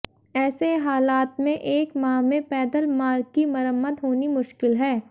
ऐसे हालात में एक माह में पैदल मार्ग की मरम्मत होनी मुश्किल है